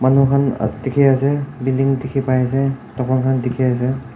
etu khan a dikhi ase building dikhi pai ase dukan khan dikhi ase.